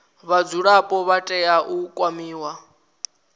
vhadzulapo vha tea u kwamiwa